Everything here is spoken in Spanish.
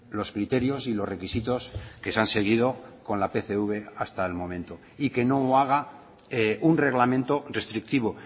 los criterios y los requisitos que se han seguido con la pcv hasta el momento y que no haga un reglamento restrictivo